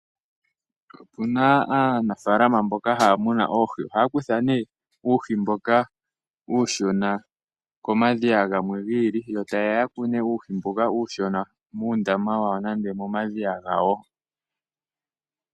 Opuna aanafalama mboka haya munu oohi, ohaya kutha ne uuhi mboka uushona komadhiya gamwe gi ili yo taye ya yamune uuhi mboka uushona muundama wawo nenge momadhiya gawo.